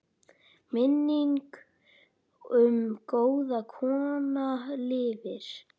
Minning um góða kona lifir.